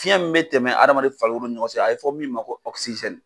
Fiyɛn min bɛ tɛmɛ adamaden farikolo ɲɔgɔn cɛ a bɛ fɔ min ma ko